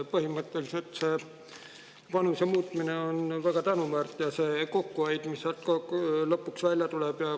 Põhimõtteliselt on väga tänuväärt see vanuse muutmine ja kokkuhoid, mis sealt lõpuks välja tuleb.